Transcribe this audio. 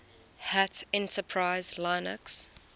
hat enterprise linux